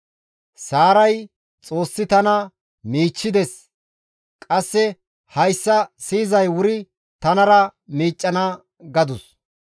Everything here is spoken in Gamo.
Saaray, «Xoossi tana miichchides; qasse hayssa siyizay wuri tanara miiccana» gadus.